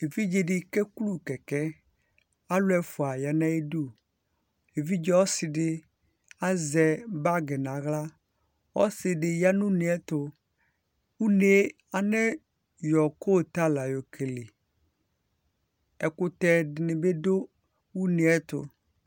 evidzedi keku kɛkɛ alʊ ɛfua yanu ayidʊ evidze ɔsidɩ azɛ bagi naɣla ɔsidi yanu ʊneyɛtu , ʊne anayɔ kuyetala yokele ɛkʊtɛ dinibi dʊ ʊneyɛtu